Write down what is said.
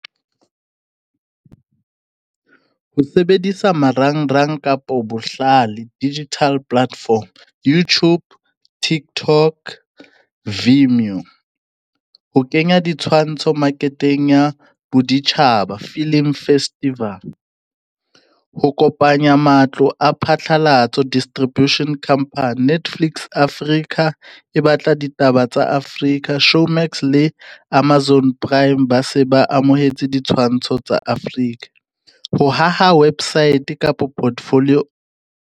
Ho sebedisa marang-rang kapo bohlale digital platform, Youtube, Tiktok, Vimeo, ho kenya ditshwantsho market-eng ya boditjhaba, film festival. Ho kopanya matlo a phatlalatso, Distribution Company Netflix Africa e batla ditaba tsa Afrika, Showmax le Amazon Prime, ba se ba amohetse ditshwantsho tsa Afrika. Ho haha website kapo portfolio.